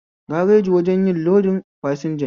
Gareji wajen yin lodin fasanja ne